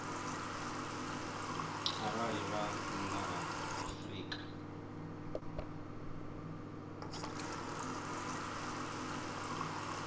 arali vha nnḓa ha afrika